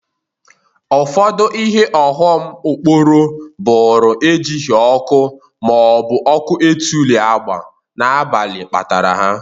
Ọfụdụ ihe ọghọm okporo bụrụ e jighi ọkụ ihu ma ọ bụ ọkụ etuli agba n'abalị kpatara ha.